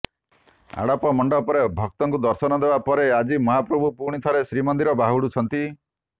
ଆଡ଼ପ ମଣ୍ଡପରେ ଭକ୍ତଙ୍କୁ ଦର୍ଶନ ଦେବା ପରେ ଆଜି ମହାପ୍ରଭୁ ପୁଣି ଥରେ ଶ୍ରୀମନ୍ଦିର ବାହୁଡ଼ୁଛନ୍ତି